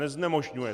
Neznemožňuje.